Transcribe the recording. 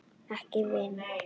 Ekki vín?